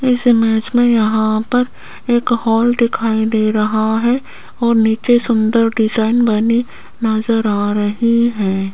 इस इमेज में यहां पर एक हॉल दिखाई दे रहा है और नीचे सुंदर डिजाइन बनी नजर आ रही है।